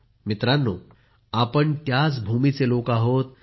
मित्रांनो आपण त्याच भूमीचे लोक आहोत